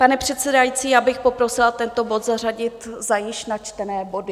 Pane předsedající, já bych poprosila tento bod zařadit za již načtené body.